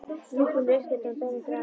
Rjúpan er uppétin og beinin grafin.